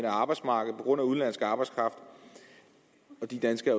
arbejdsmarkedet på grund af udenlandsk arbejdskraft og de danskere